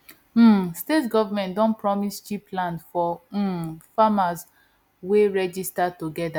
um state government don promise cheap land for um farmers wey register together